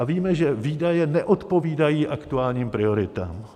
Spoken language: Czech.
A víme, že výdaje neodpovídají aktuálním prioritám.